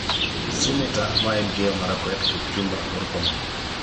Seneta ma Elgeyo Marakwet Kipchumba Murkomen